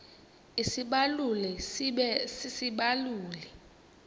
isibaluli sibe sisibaluli